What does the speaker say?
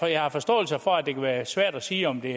jeg har forståelse for at det kan være svært at sige om den